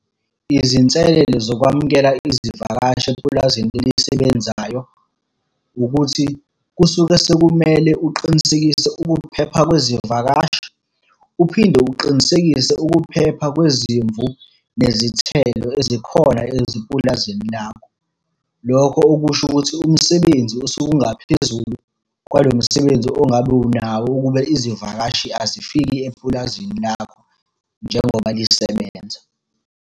Izinselelo zokwamukela izivakashi epulazini elisebenzayo, ukuthi kusuke sekumele uqinisekise ukuphepha kwezivakashi, uphinde uqinisekise ukuphepha kwezimvu nezithelo ezikhona ezipulazini lakho. Lokho okusho ukuthi umsebenzi osuke ungaphezulu kwalo msebenzi ongabe unawo ukube izivakashi azifiki epulazini lakho, njengoba lisebenza.